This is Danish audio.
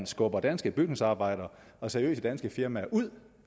skubber danske bygningsarbejdere og seriøse danske firmaer ud